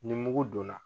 Ni mugu donna